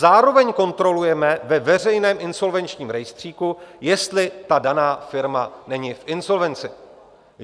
Zároveň kontrolujeme ve veřejném insolvenčním rejstříku, jestli ta daná firma není v insolvenci.